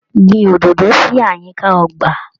Gbin òdòdó si àyíká ọgbà.